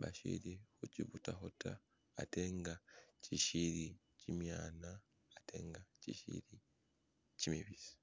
bashili huchibutaho ta ate nga chishili chimyana ate nga chishili chimibisi